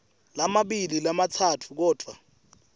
lamabili lamatsatfu kodvwa